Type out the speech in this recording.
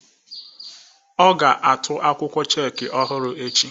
Ọ ga-atụ akwụkwọ chek ọhụrụ echi.